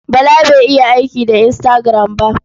Bala bai iya aiki da Instagram ba.